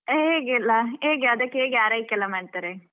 ಹೇಗೆಲ್ಲ? ಹೇಗೆ ಅದಕ್ಕೆ ಹೇಗೆ ಆರೈಕೆ ಎಲ್ಲ ಮಾಡ್ತಾರೆ?